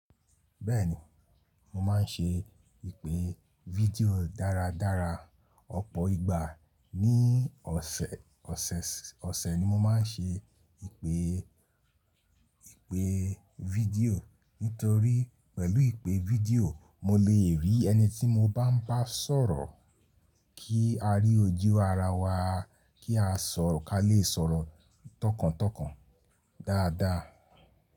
Bẹ́ẹ̀ni, mo máa ń ṣe ìpè fídíò dáradára. Ọ̀pọ̀ ìgbà ní ọ̀sẹ̀, ọ̀sẹ̀, ọ̀sẹ̀ ni mo máa ń ṣe ìpè, ìpè fídíò. Nítorí pẹ̀lú ìpè fídíò mo lè rí ẹni tí mo bá ń bá sọ̀rọ̀ kí a rí ojú ara wa kí a sọ̀rọ̀, kí a lè sọ̀rọ̀ tọkàntọkàn dáadáa.